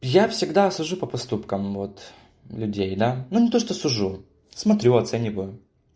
я всегда сужу по поступкам вот людей да ну то что сужу смотрю оценивю